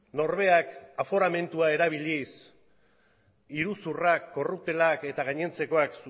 norberak aforamendua erabiliz iruzurrak korrutelak eta gainontzekoak